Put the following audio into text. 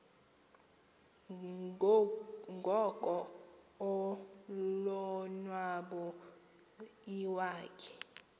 ngoko ulonwabo iwakhe